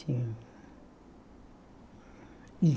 Tinha.